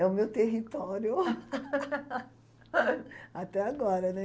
É o meu território até agora, né?